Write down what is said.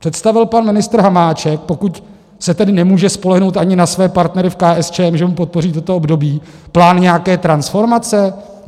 Představil pan ministr Hamáček, pokud se tedy nemůže spolehnout ani na své partnery v KSČM, že mu podpoří toto období, plán nějaké transformace?